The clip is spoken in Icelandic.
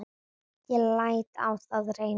Ég læt á það reyna.